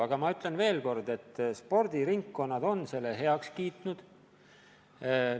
Aga ma ütlen veel kord, et spordiringkonnad on selle ettepaneku heaks kiitnud.